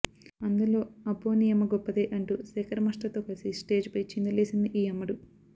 అందులో అబ్బో నీ యమ్మ గొప్పదే అంటూ శేఖర్ మాస్టర్ తో కలసి స్టేజ్ పై చిందులేసింది ఈ అమ్మడు